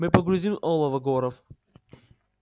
мы погрузим олово горов